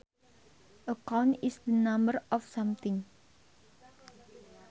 A count is the number of something